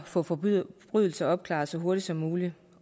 få forbrydelser opklaret så hurtigt som muligt